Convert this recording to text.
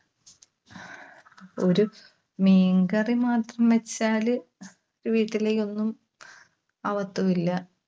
ഒരു മീൻകറി മാത്രം വെച്ചാല് ഒരു വീട്ടിലേക്ക് ഒന്നും ആവത്തുമില്ല.